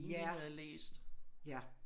Ja ja